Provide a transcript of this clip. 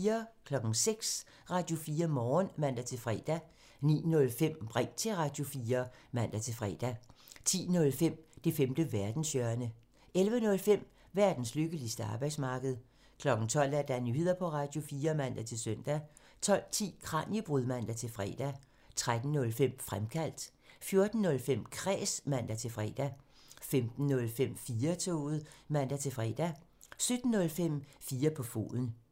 06:00: Radio4 Morgen (man-fre) 09:05: Ring til Radio4 (man-fre) 10:05: Det femte verdenshjørne (man) 11:05: Verdens lykkeligste arbejdsmarked (man) 12:00: Nyheder på Radio4 (man-søn) 12:10: Kraniebrud (man-fre) 13:05: Fremkaldt (man) 14:05: Kræs (man-fre) 15:05: 4-toget (man-fre) 17:05: 4 på foden (man)